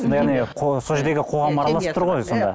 сол жердегі қоғам араласып тұр ғой сонда